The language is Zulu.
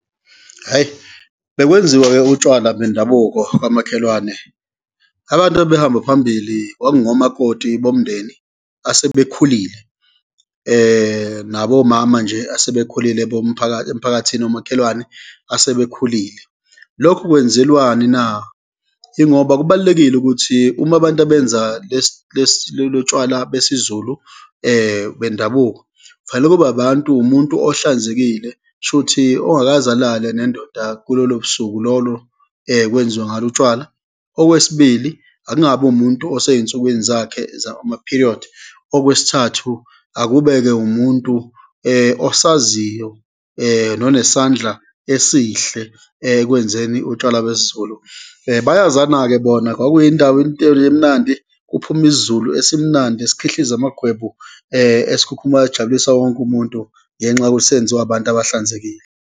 Hhayi, bekwenziwa-ke utshwala bendabuko kamakhelwane. Abantu ababehamba phambili kwakungomakoti bomndeni asebekhulile, nabo omama nje asebekhulile emphakathini womakhelwane asebekhulile. Lokhu kwenzelwani na? Yingoba kubalulekile ukuthi uma abantu abenza lesi, lesi lolu tshwala besiZulu bendabuko, kufanele kube abantu, umuntu ohlanzekile, kushuthi ongakaze alale nendoda kulolo busuku lolo kwenziwa ngalo utshwala. Okwesibili, akungabi wumuntu oseyinsukwini zakhe ama-period. Okwesithathu, akube-ke umuntu osaziyo nonesandla esihle ekwenzeni utshwala besiZulu. Bayazana-ke bona, kwakuyindawo into le emnandi, kuphume isiZulu esimnandi esikhihliza amagwebu esikhukhumala sijabulisa wonke umuntu ngenxa yokuthi senziwa abantu abahlanzekile.